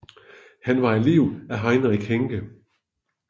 Han var elev af Heinrich Henke